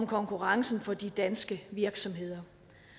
konkurrencen for de danske virksomheder